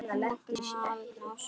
Magnea, Árni og Svava.